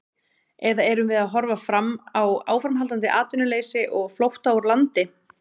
Eða erum við að horfa fram á áframhaldandi atvinnuleysi og flótta úr landi?